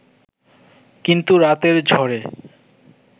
কিন্তু রাতের ঝড়ে